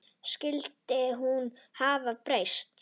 Skyldi hún hafa breyst?